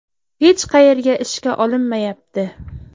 Hech qayerga ishga olinmayapti.